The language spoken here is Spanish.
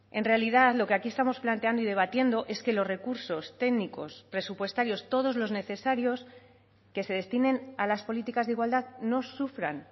en realidad lo que aquí estamos planteando y debatiendo es que los recursos técnicos presupuestarios todos los necesarios que se destinen a las políticas de igualdad no sufran